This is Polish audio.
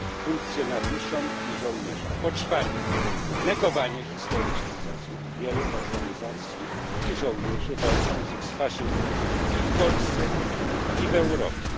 funkcjonariuszom i żołnierzom, po czwarte, negowanie historycznych zasług wielu organizacji i żołnierzy walczących z faszyzmem i w Polsce, i w Europie.